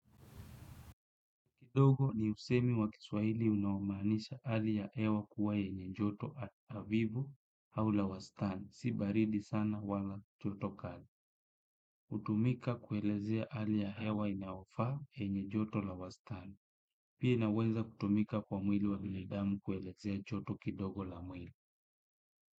Kidogo ni usemi wa kiswahili unaomaanisha hali ya hewa kuwa yenye joto avivu au la wastani. Si baridi sana wala joto kali. Hutumika kuelezea hali ya hewa inayofaa enye joto la wastani. Pia inaweza kutumika kwa mwili wa binadamu kuelezea joto kidogo la mwili.